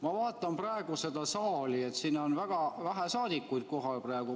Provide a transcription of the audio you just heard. Ma vaatan praegu seda saali, siin on väga vähe saadikuid kohal praegu.